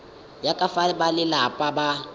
ya ka fa balelapa ba